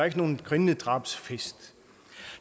ikke nogen grindedrabsfest